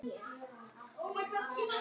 Ertu sammála þeirri túlkun hans?